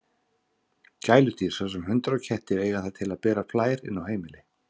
Gæludýr, svo sem hundar og kettir, eiga það til að bera flær inn á heimili.